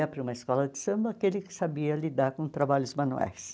Ia para uma escola de samba aquele que sabia lidar com trabalhos manuais.